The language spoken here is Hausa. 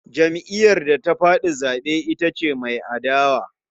Jam'iyyar da ta faɗi zaɓe ita ce mai adawa.